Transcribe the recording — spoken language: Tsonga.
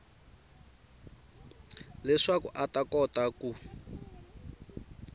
leswaku a ta kota ku